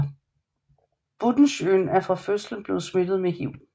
Buttenschøn er fra fødslen blevet smittet med HIV